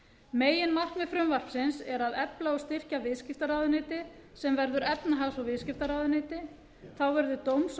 meginmarkmið frumvarpsins er að efla og styrkja viðskiptaráðuneyti sem verður efnahags og viðskiptaráðuneyti þá verður dóms og